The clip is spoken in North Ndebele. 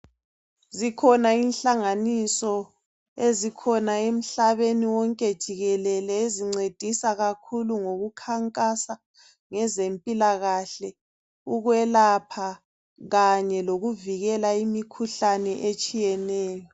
Zikhona inhlanganiso ezikhona emhlabeni wonke jikelele ezincedisa kakhulu ngokukhankasa ngezempilakahle, ukwelapha kanye lokuvikela imikhuhlane etshiyeneyo.